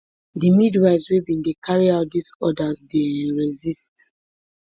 di midwives wey bin dey carry out dis orders begin dey um resist